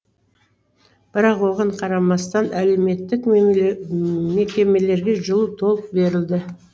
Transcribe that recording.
бірақ оған қарамастан әлеуметтік мекемелерге жылу толық берілді